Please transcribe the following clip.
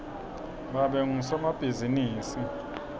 babe ngusomabhizimisi